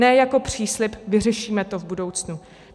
Ne jako příslib: vyřešíme to v budoucnu.